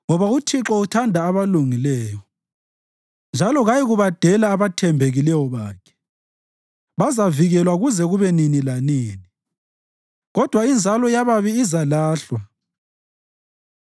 Ngoba uThixo uthanda abalungileyo njalo kayikubadela abathembekileyo bakhe. Bazavikelwa kuze kube nini lanini kodwa inzalo yababi izalahlwa;